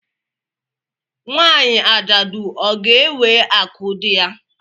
Nwanyị ajadu ọ ga ewe akụ dị ya?